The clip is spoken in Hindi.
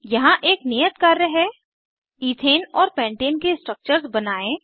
यहाँ एक नियत कार्य है ईथेन और पैंटेन के स्ट्रक्चर्स बनायें